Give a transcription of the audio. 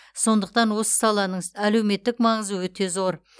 сондықтан осы саланың әлеуметтік маңызы өте зор